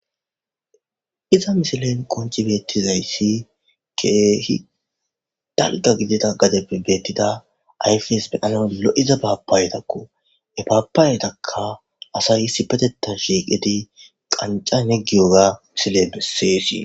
Iza misilen qonccii beetizayssi keehi dalgga gidida gaddeppe beettida ayfes xellanas lo'iza papayettakko eettakka asay issipetetan shiiqqidi qanxxan giyoga misiley besses